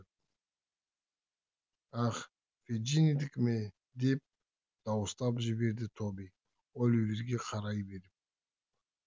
ах феджиндікі ме деп дауыстап жіберді тоби оливерге қарай беріп